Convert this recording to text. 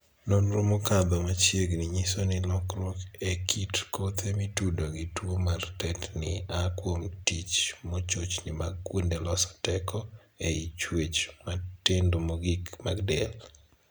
Nonro mokadho machiegni nyiso ni lokruok e kit kothe mitudo gi tuo mar tetni aa kuom tich mochochni mag kuonde loso teko ei chuech matindo mogik mag del.